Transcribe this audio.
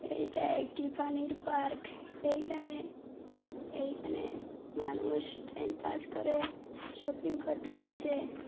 এইটা একটি পানির পার্ক এইখানে এইখানে মানুষ টাইম পাস করে শপিং করতে আসে।